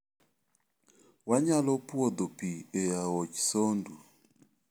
Wanyalo puodho pi e aoch Sondu.